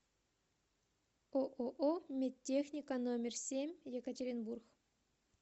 ооо медтехника номер семь екатеринбург